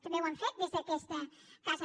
també ho hem fet des d’aquesta casa